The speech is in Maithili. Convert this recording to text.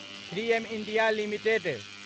three M India limited